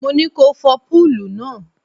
Mo ní ko fọ púùlù náà.